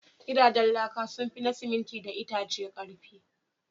Gidajen laka sun fi na siminti da itace ƙarfi.